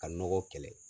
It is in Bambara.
Ka nɔgɔ kɛlɛ